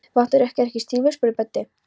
Vantar ykkur ekki stígvél? spurði Böddi.